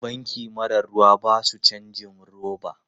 Banki mara ruwa ba su cajin roba.